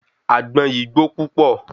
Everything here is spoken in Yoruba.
Àgbọn yìí gbó púpọ̀